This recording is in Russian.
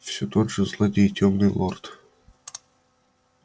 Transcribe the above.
все тот же злодей тёмный лорд